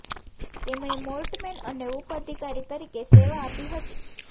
તેમણે મોર્ટમૅન અને ઉપ અધિકારી તરીકે સેવા આપી હતી